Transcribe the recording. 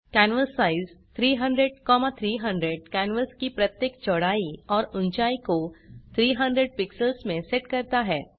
canvas size 300300 canvas की प्रत्येक चौड़ाई और ऊंचाई को 300 पिक्सेल्स में सेट करता है